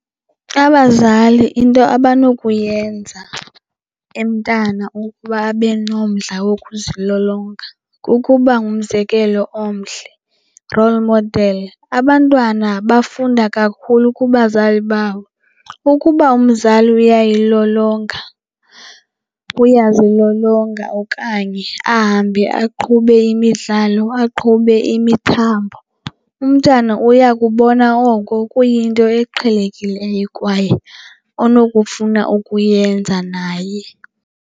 Abazali into abanokuyenza emntana ukuba abe nomdla wokuzilolonga kukuba ngumzekelo omhle, role model. Abantwana bafunda kakhulu kubazali babo, ukuba umzali uyayilolonga, uyazilolonga okanye ahambe aqhube imidlalo, aqhube imithambo, umntana uya kubona oko kuyinto eqhelekileyo kwaye onokufuna ukuyenza naye.